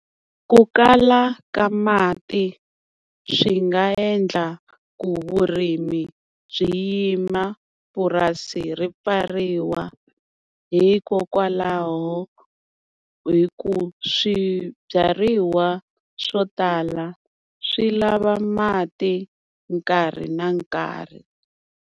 Ku kala ka mati swi nga endla ku vurimi byi yima, purasi ri pfariwa, hikokwalaho hi ku swibyariwa swo tala swi lava mati nkarhi na nkarhi.